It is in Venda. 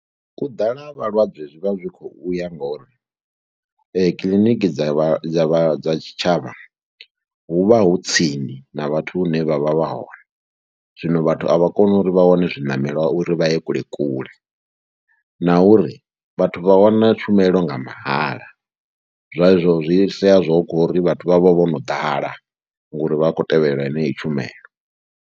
U ḓala ha vhalwadze zwi vha zwi khou u ya ngori kiḽiniki dza vha dza vha dza tshitshavha hu vha hu tsini na vhathu vhane vha vha vha hone, zwino vhathu a vha koni uri vha wane zwiṋamela uri vha ye kule kule na uri vhathu vha wana tshumelo nga mahala, zwa zwo zwi sia zwo khou ri vhathu vha vho vho no ḓala ngori vha khou tevhelela yeyi tshumelo.